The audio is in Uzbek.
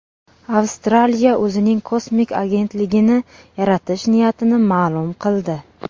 Avstraliya o‘zining kosmik agentligini yaratish niyatini ma’lum qildi.